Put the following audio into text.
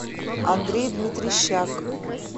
андрей дмитрищак